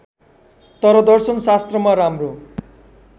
तर दर्शनशास्त्रमा राम्रो